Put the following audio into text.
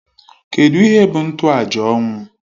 Kedụ ihe bụ ntoaja ọnwụ?